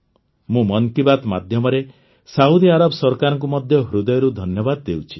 ମୁଁ ମନ୍ କୀ ବାତ୍ ମାଧ୍ୟମରେ Saudi Arab ସରକାରଙ୍କୁ ମଧ୍ୟ ହୃଦୟରୁ ଧନ୍ୟବାଦ ଦେଉଛି